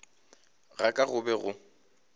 ga ka go be go